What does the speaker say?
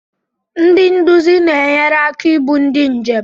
Ndị nduzi na-enyere aka ibu ndị njem.